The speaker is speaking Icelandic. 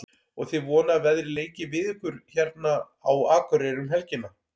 Og þið vonið að veðrið leiki við ykkur hérna á Akureyri um helgina?